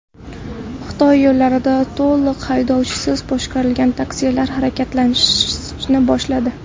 Xitoy yo‘llarida to‘liq haydovchisiz boshqariladigan taksilar harakatlanishni boshladi .